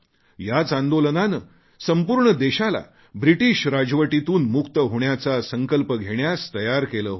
याच आंदोलनाने संपूर्ण देशाला ब्रिटिश राजवटीतून मुक्त होण्याचा संकल्प घेण्यास तयार केले होते